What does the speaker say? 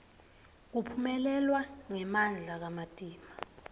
kuphelelwa ngemandla kamatima